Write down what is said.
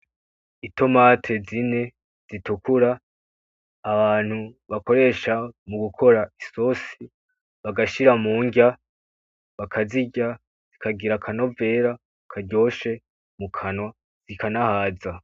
Itomati zine zitukura abantu bakoresha mu gukora isosi bagashira mundya bakazirya zikagira akanovera karyoshe mu kanwa zikanahaza.